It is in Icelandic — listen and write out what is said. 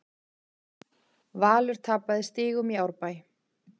Valur tapaði stigum í Árbæ